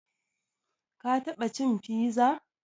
Ka taɓa cin fiza?